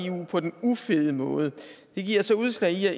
eu på den ufede måde det giver sig udslag i at